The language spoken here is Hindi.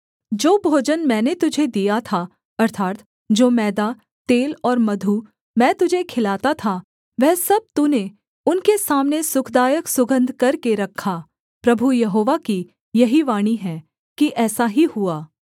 जो भोजन मैंने तुझे दिया था अर्थात् जो मैदा तेल और मधु मैं तुझे खिलाता था वह सब तूने उनके सामने सुखदायक सुगन्ध करके रखा प्रभु यहोवा की यही वाणी है कि ऐसा ही हुआ